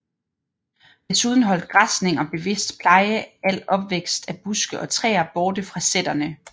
Desuden holdt græsning og bevidst pleje al opvækst af buske og træer borte fra sæterne